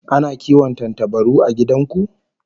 Ana kiwon tantabaru a gidan ku?